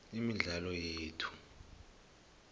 imidlalo yethu